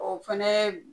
O fɛnɛ